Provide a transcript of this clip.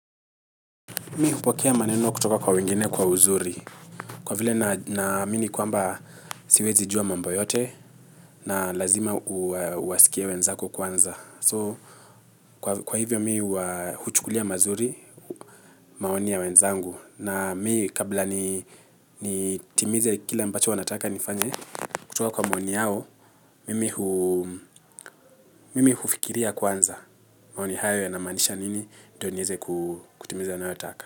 Mi hupokea maneno kutoka kwa wengine kwa uzuri. Kwa vile naamini kwamba siwezi jua mambo yote na lazima uwasikie wenzako kwanza. So, kwa hivyo mi huchukulia mazuri maoni ya wenzangu. Na mi kabla timize kile mbacho wanataka nifanye kutoka kwa maoni yao, mimi mimi hufikiria kwanza maoni hayo ya namaanisha nini ndio niweze kutimiza wanayotaka.